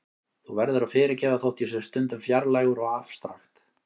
Þú verður að fyrirgefa þótt ég sé stundum fjarlægur og afstrakt.